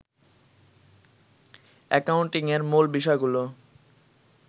অ্যাকাউন্টিংয়ের মূল বিষয়গুলো